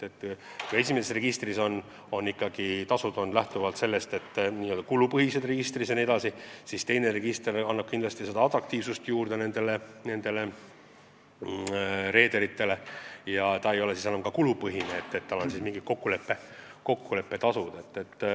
Kui esimese registri tasud on kulupõhised, siis teine register on reederite silmis rohkem atraktiivne ja need tasud ei ole kulupõhised, need on kokkuleppetasud.